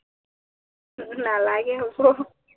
নালাগে হব